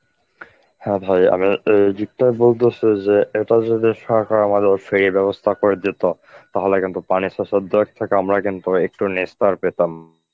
হ্যাঁ ভাই আমি অ্যাঁ যে এটা যদি সরকার আমাদের free এর ব্যবস্থা করে দিত তাহলে কিন্তু পানি সেচের দেওয়ার থেকে আমরা কিন্তু একটু নিস্তার পেতাম.